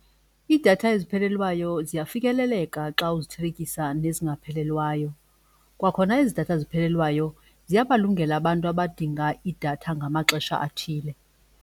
Iidatha eziphelelwayo ziyafikeleleka xa uzithelekisa nezingaphelelwayo, kwakhona ezi datha eziphelelweyo ziyabalungela abantu abadinga idatha ngamaxesha athile.